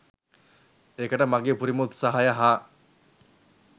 ඒකට මගේ උපරිම උත්සාහය හා